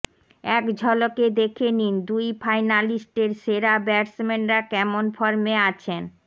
এক ঝলকে দেখে নিন দুই ফাইনালিস্টের সেরা ব্যাটসম্যানরা কেমন ফর্মে আছেন